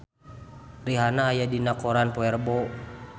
Rihanna aya dina koran poe Rebo